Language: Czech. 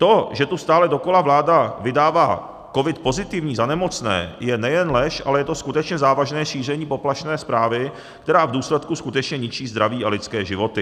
To, že tu stále dokola vláda vydává covid pozitivní za nemocné, je nejen lež, ale je to skutečně závažné šíření poplašné zprávy, která v důsledku skutečně ničí zdraví a lidské životy.